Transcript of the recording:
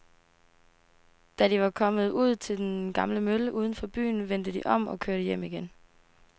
Da de var kommet ud til den gamle mølle uden for byen, vendte de om og kørte hjem igen.